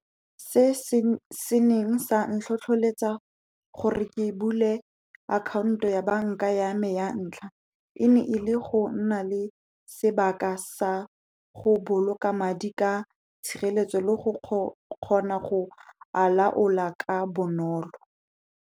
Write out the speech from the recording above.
Se se neng sa ntlhotlheletsa gore ke bule akhaonto ya banka ya me ya ntlha, e ne ele go nna le sebaka sa go boloka madi ka tshireletso le go kgona go a laola ka bonolo.